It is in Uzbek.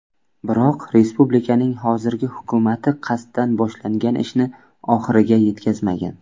Biroq respublikaning hozirgi hukumati qasddan boshlangan ishni oxiriga yetkazmagan.